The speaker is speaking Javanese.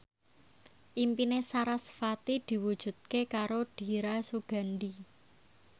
impine sarasvati diwujudke karo Dira Sugandi